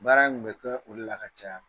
Baara in tun bɛ ka olu la ka caya